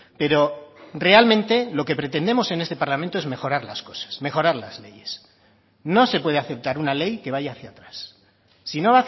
pero realmente lo que pretendemos en este parlamento es mejorar las cosas mejorar las leyes no se puede aceptar una ley que vaya hacia atrás si no